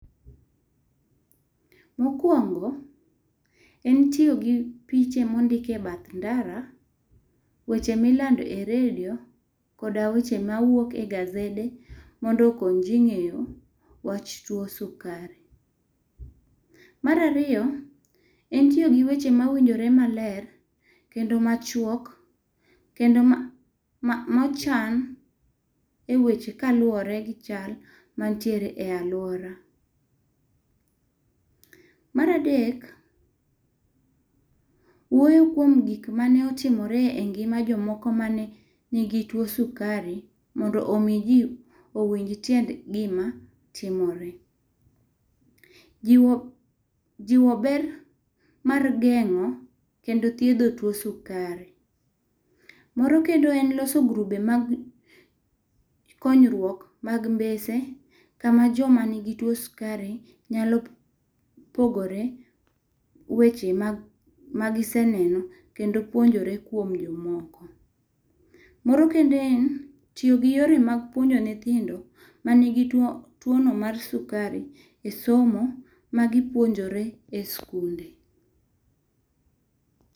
Mokwongo, en tiyo gi piche mondik e bath ndara, weche milando e redio koda weche mawuok e gazede mondo okony ji ng'eyo wach tuwo sukari. Mar ariyo, en tiyo gi weche mawinjore maler, kendo machuok kendo mochan e weche kaluwore gi chal manitiere e alwora. Mar adek, wuoyo kuom gik mane otimore e ngima jomoko mane nigi tuwo sukari mondo omi ji owinj tiend gima timore. Jiwo ber mar geng'o kendo thiedho tuwo sukari. Moro kendo en loso grube mag konyruok mag mbese kama joma nigi tuwo sukari nyalo pogore weche magiseneno kendo puonjore kuom jomoko. Moro kendo en tiyo gi yore mag puonjo nyithindo manigi tuwono mar sukari e somo magipuonjore e sikunde.